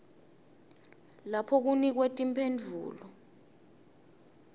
lapho kunikwe timphendvulo